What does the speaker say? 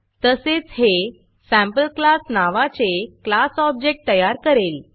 तसेच हे SampleClassसॅम्पल क्लास नावाचे क्लास ऑब्जेक्ट तयार करेल